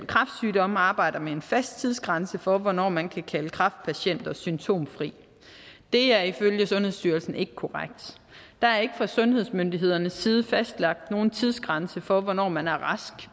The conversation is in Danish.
kræftsygdomme arbejder med en fast tidsgrænse for hvornår man kan kalde kræftpatienter symptomfri det er ifølge sundhedsstyrelsen ikke korrekt der er ikke fra sundhedsmyndighedernes side fastlagt nogen tidsgrænse for hvornår man er rask